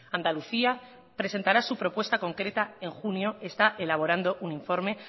andalucía presentará su propuesta concreta en junio está elaborando un informe